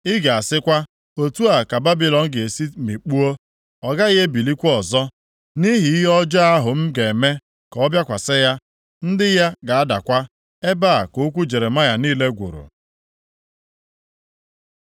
Ị ga-asịkwa, ‘Otu a ka Babilọn ga-esi mikpuo. Ọ gaghị ebilikwa ọzọ, nʼihi ihe ọjọọ ahụ m ga-eme ka ọ bịakwasị ya. Ndị ya ga-adakwa.’ ” Ebe a ka okwu Jeremaya niile gwụrụ.